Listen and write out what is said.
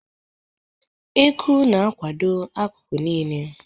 Eku na-akwado akụkụ niile.